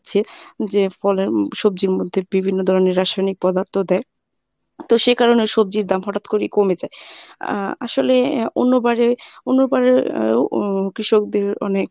যে ফলে উম সবজির মধ্যে বিভিন্ন ধরনের রাসায়নিক পদার্থ দেয় তো সে কারণে সবজির দাম হঠাৎ করেই কমে যায়। আহ আসলে অন্যবারে অন্যবারেও উম কৃষকদের মানে